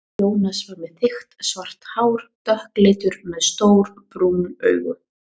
Jónas var með þykkt svart hár, dökkleitur, með stór brún augu.